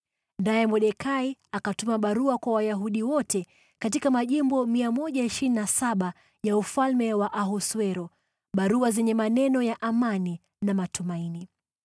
Naye Mordekai akatuma barua kwa Wayahudi wote katika majimbo 127 ya ufalme wa Ahasuero, barua zenye maneno ya amani na matumaini,